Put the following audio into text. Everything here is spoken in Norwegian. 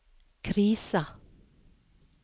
krisa